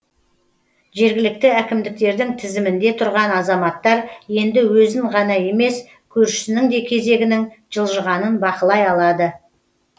жергілікті әкімдіктердің тізімінде тұрған азаматтар енді өзін ғана емес көршісінің де кезегінің жылжығанын бақылай алады